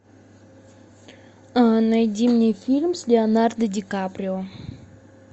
найди мне фильм с леонардо ди каприо